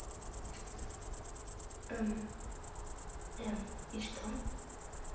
и что